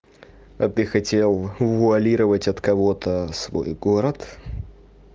а ты хотел вуалировать от кого-то свой город